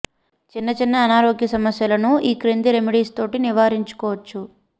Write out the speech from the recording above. చిన్న చిన్న అనారోగ్య సమస్యలను ఈ క్రింది రెమెడీస్ తోటి నివారించుకోవచ్చు